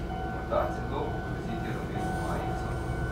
Morda celo ogroziti rumeno majico?